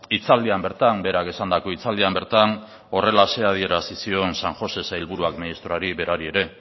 hitzaldian bertan berak esandako hitzaldian bertan horrelaxe adierazi zion san josé sailburuak ministroari berari ere